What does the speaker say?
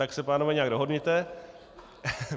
Tak se, pánové, nějak dohodněte.